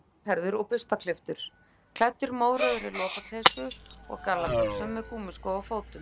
Hann var svarthærður og burstaklipptur, klæddur mórauðri lopapeysu og gallabuxum, með gúmmískó á fótum.